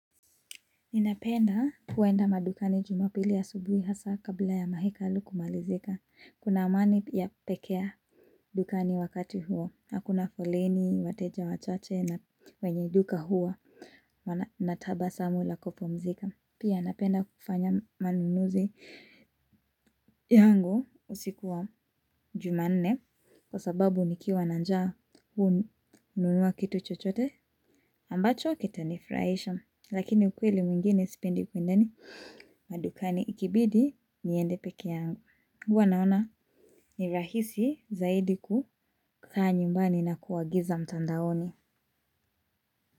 Ninapenda kuenda madukani jumapili asubuhi hasa kabla ya mahekalu kumalizika. Kuna amani ya pekee dukani wakati huo. Hakuna folleni, wateja wachache na wenye duka hua na tabasamu la kupumzika. Pia napenda kufanya manunuzi yangu usiku wa juma nne kwa sababu nikiwa na nja huwa nanunua kitu chochote ambacho kita nifurahisha. Lakini ukweli mwingine sipendi kwenye ni madukani ikibidi niende peke yangu. Huwa naona ni rahisi zaidi kukaa nyumbani na kuagiza mtandaoni.